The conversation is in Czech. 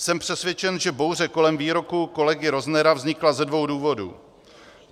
Jsem přesvědčen, že bouře kolem výroku kolegy Roznera vznikla ze dvou důvodů.